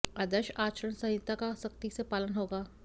आदर्श आचरण संहिता का सख्ती से पालन होगा